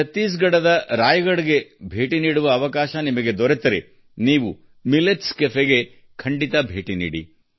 ಛತ್ತೀಸ್ಗಢದ ರಾಯ್ಗಡ್ಗೆ ಭೇಟಿ ನೀಡುವ ಅವಕಾಶ ನಿಮಗೆ ದೊರೆತರೆ ನೀವು ಮಿಲೆಟ್ಸ್ ಕೆಫೆಗೆ ಖಂಡಿತ ಭೇಟಿ ನೀಡಿ